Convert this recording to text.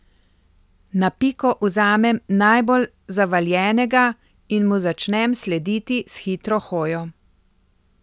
Na piko vzamem najbolj zavaljenega in mu začnem slediti s hitro hojo.